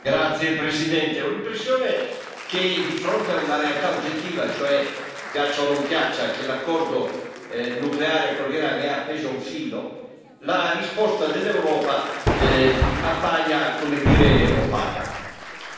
Signor Presidente, onorevoli colleghi, ho l'impressione che di fronte a una realtà oggettiva, cioè, piaccia o non piaccia, che l'accordo nucleare con l'Iran è appeso a un filo, la risposta dell'Europa appaia, come dire, opaca.